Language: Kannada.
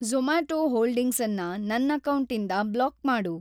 ಜೊ಼ಮ್ಯಾಟೊ ಹೋಲ್ಡಿಂಗ್ಸನ್ನ ನನ್‌ ಅಕೌಂಟಿಂದ ಬ್ಲಾಕ್‌ ಮಾಡು.